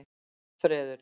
Hallfreður